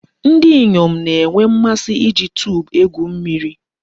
Ndi inyom na-enwe mmasi iji tube egwu mmiri.